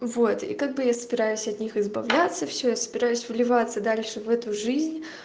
вот и как бы я собираюсь от них избавляться всё я собираюсь вливаться дальше в эту жизнь